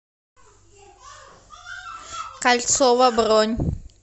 кольцово бронь